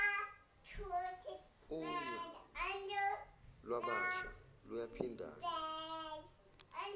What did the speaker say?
unya lwabasha luyaphindana